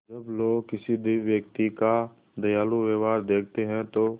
जब लोग किसी व्यक्ति का दयालु व्यवहार देखते हैं तो